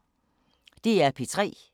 DR P3